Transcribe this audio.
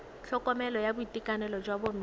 tlhokomelo ya boitekanelo jwa bomme